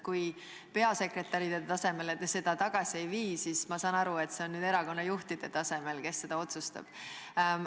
Kui peasekretäri tasemele te seda tagasi ei vii, siis ma saan aru, et see on nüüd erakonnajuhtide tasemel, nemad seda otsustavad.